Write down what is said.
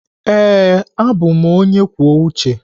Ee, abụ m onye kwuo uche.